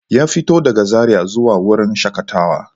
Ya fito daga Zaria zuwa wurin shakatawa.